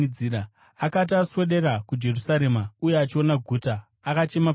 Akati aswedera kuJerusarema uye achiona guta, akachema pamusoro paro